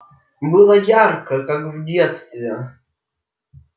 было ярко как в детстве